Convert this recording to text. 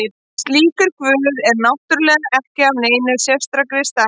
Slíkur guð er náttúrulega ekki af neinni sérstakri stærð.